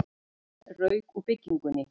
Enn rauk úr bryggjunni